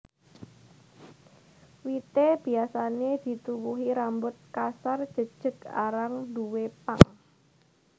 Wité biasané dituwuhi rambut kasar jejeg arang duwé pang